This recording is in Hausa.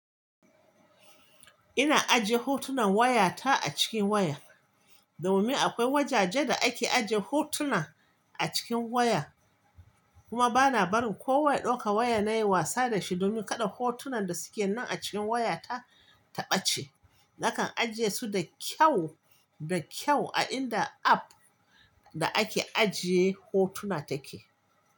Ina ajiye hotunan wayata a cikin waya. Domin akwai wajaje da ake ajiye hotuna a cikin waya. Kuma bana barin kowa ɗauka waya na yi wasa da shi, domin kada hotunan da suke nan a cikin wayata ta ɓace. Nakan ajiye su da kyau da kyau a inda app da ake ajiye hotuna take.